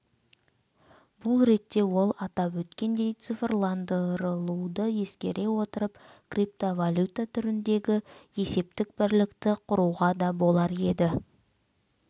бұл ретте ол атап өткендей цифрландырылуды ескере отырып криптовалюта түріндегі есептік бірлікті құруға да болар еді